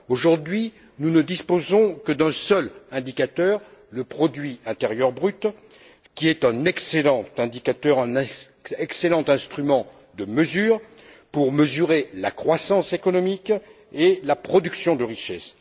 Aujourd'hui, nous ne disposons que d'un seul indicateur, le produit intérieur brut, qui est un excellent indicateur, un excellent instrument de mesure pour mesurer la croissance économique et la production de richesses.